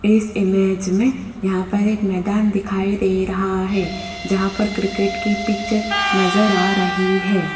इस इमेज में यहां पर एक मैदान दिखाई दे रहा है जहां पर क्रिकेट के पिच नजर आ रही है।